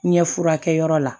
Ɲɛ furakɛyɔrɔ la